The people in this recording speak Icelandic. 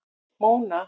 Móna